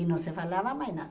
E não se falava mais nada.